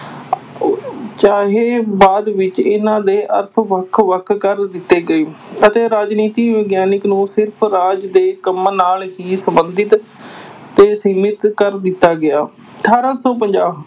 ਚਾਹੇ ਬਾਅਦ ਵਿਚ ਇਹਨਾਂ ਦੇ ਅਰਥ ਵੱਖ ਵੱਖ ਕਰ ਦਿੱਤੇ ਗਏ ਅਤੇ ਰਾਜਨੀਤੀ ਵਿਗਿਆਨਕ ਨੂੰ ਸਿਰਫ਼ ਰਾਜ ਦੇ ਕੰਮਾਂ ਨਾਲ ਹੀ ਸੰਬੰਧਿਤ ਤੇ ਸੀਮਿਤ ਕਰ ਦਿੱਤਾ ਗਿਆ, ਅਠਾਰਾਂ ਸੌ ਪੰਜਾਹ